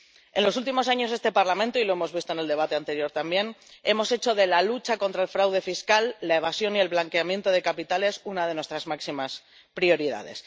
En los últimos años, en este Parlamento ―y lo hemos visto en el debate anterior también— hemos hecho de la lucha contra el fraude fiscal, la evasión y el blanqueamiento de capitales una de nuestras máximas prioridades.